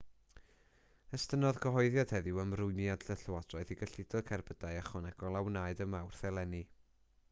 estynnodd cyhoeddiad heddiw ymrwymiad y llywodraeth i gyllido cerbydau ychwanegol a wnaed ym mawrth eleni